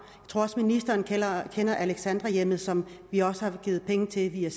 tror også at ministeren kender kender alexandrakollegiet som vi har givet penge til via